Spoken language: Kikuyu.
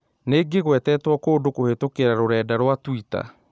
Nĩ ngĩgwetetwo kũndũ kũhītũkīra rũrenda rũa tũita